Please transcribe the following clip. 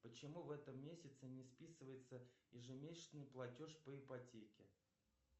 почему в этом месяце не списывается ежемесячный платеж по ипотеке